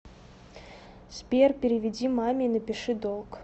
сбер переведи маме и напиши долг